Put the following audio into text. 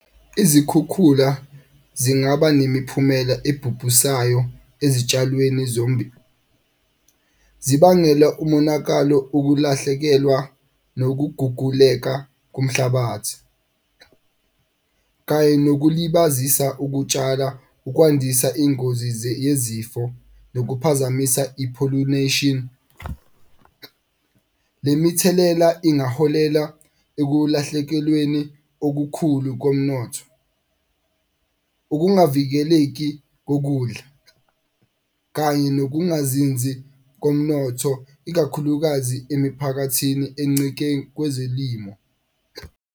Izikhukhula zingaba nemiphumela ebhubhusayo ezitshalweni . Zibangela umonakalo, ukulahlekelwa nokuguguleka komhlabathi. Kaye nokulibazisa ukutshala ukwandisa iy'ngozi yezifo nokukuphazamisa i-pollunation. Le mithelela ingaholela ekulahlekelweni okukhulu komnotho, ukungavukeleki kokudla kanye nokungazinzi komnotho ikakhulukazi emiphakathini encike kwezelimo.